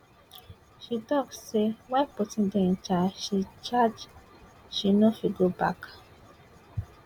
she tok say while putin dey in charge she charge she no fit go back